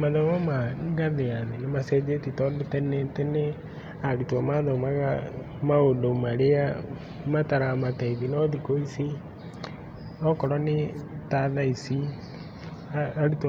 Mathomo ma ngathĩ ya thĩ nĩ macenjetie tondũ tene, arutwo mathomaga mathomo marĩa mataramateithia, no thikũ ici okorwo nĩ ta thaa ici arutwo